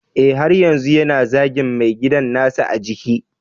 Eh, har yanzu yana zagin mai gidan nasa a jiki